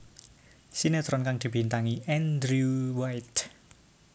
Sinetron kang dibintangi Andrew White